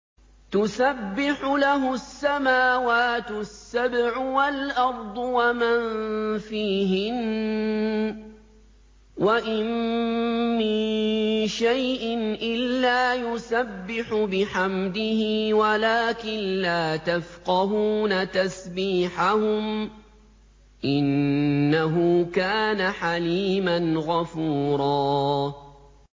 تُسَبِّحُ لَهُ السَّمَاوَاتُ السَّبْعُ وَالْأَرْضُ وَمَن فِيهِنَّ ۚ وَإِن مِّن شَيْءٍ إِلَّا يُسَبِّحُ بِحَمْدِهِ وَلَٰكِن لَّا تَفْقَهُونَ تَسْبِيحَهُمْ ۗ إِنَّهُ كَانَ حَلِيمًا غَفُورًا